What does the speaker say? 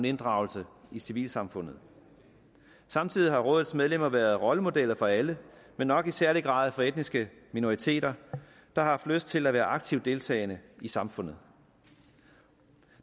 inddragelse i civilsamfundet samtidig har rådets medlemmer været rollemodeller for alle men nok i særlig grad for etniske minoriteter der har lyst til at være aktivt deltagende i samfundet